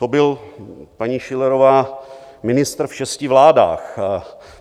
- To byl, paní Schillerová, ministr v šesti vládách.